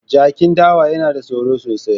Jakin dawa yana da tsoro sosai.